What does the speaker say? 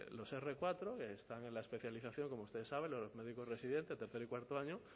los r cuatro que están en la especialización como ustedes saben los médicos residentes de tercero y cuarto año